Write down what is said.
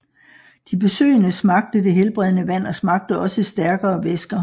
De besøgende smagte det helbredende vand og smagte også stærkere væsker